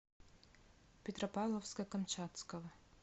петропавловска камчатского